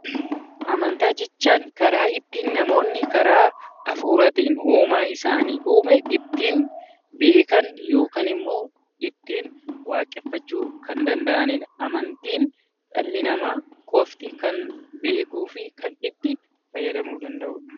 Amantaa jechuun karaa ittiin namoonni karaa hafuuraatiin uumaa isaan uume ittiin beekan yookaan ittiin waaqeffachuu kan danda'anidha. Amantiin dhalli namaa qofti beekuu fi itti fayyadamuu kan danda'udha